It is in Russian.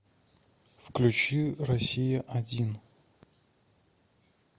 включи россия один